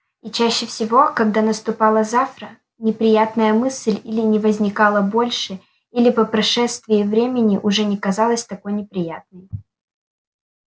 и чаще всего когда наступало завтра неприятная мысль или не возникала больше или по прошествии времени уже не казалась такой неприятной